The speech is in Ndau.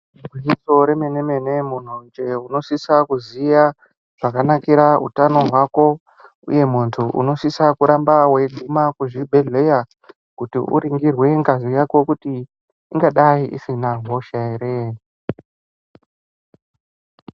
Gwinyiso remene-mene munhu njee unosisa kuziya zvakanakira utano hwako. Uye muntu unosisa kuramba weiguma kuzvibhedhlera kuti uringirwe ngazi yako kuti ingadai isina hosha here.